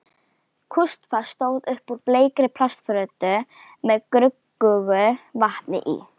Kústskaft stóð upp úr bleikri plastfötu með gruggugu vatni í.